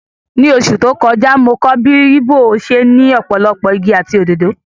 Ní oṣù tó kọjá, mo kọ́ bí igbó ṣe ní ọ̀pọ̀lọpọ̀ igi àti òdòdó.